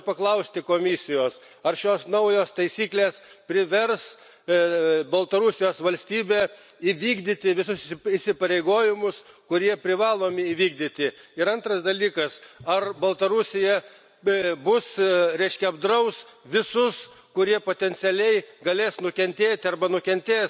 Noriu paklausti Komisijos ar šios naujos taisyklės privers Baltarusijos valstybę įvykdyti visus įsipareigojimus, kurie privalomi įvykdyti, ir antras dalykas ar Baltarusija apdraus visus, kurie potencialiai galės nukentėti arba nukentės